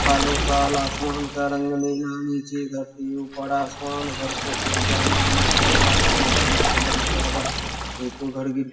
सालो साल आसमान का रंग नीचे धरती ऊपर आसमान घर को कृप्या मरम्मत करवाए और जल्द से जल्द करवाए नहीं तो घर गी --